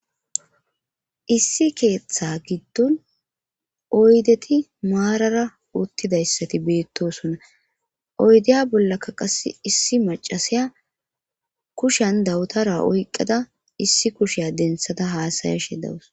Issi keeththa giddon oydeti maarara uttidayssati beettosonna oydeya bollakka qasse issi macasiya kushan dawutara oyqqada issi kusheya densada haasaya she dawus